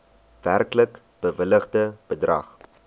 werklik bewilligde bedrag